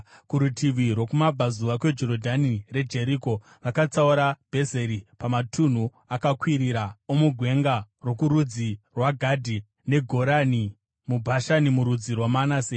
Kurutivi rwokumabvazuva kweJorodhani reJeriko vakatsaura Bhezeri pamatunhu akakwirira omugwenga rokurudzi rwaGadhi, neGorani muBhashani murudzi rwaManase.